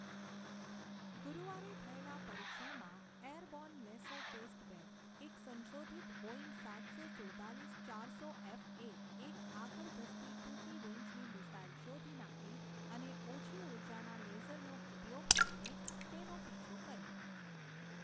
ગુરુવારે થયેલા પરીક્ષણમાં એરબોર્ન લેસર ટેસ્ટબેડ, એક સંશોધિત બોઇંગ સાતસો સુડતાલીસ ચારસો એફ એ એક આગળ ધસતી ટૂંકી રેંજની મિસાઇલ શોધી નાખી અને ઓછી ઊર્જાના લેસરનો ઉપયોગ કરીને તેનો પીછો કર્યો.